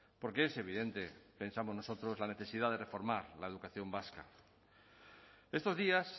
porque es evidente pensamos nosotros la necesidad de reformar la educación vasca estos días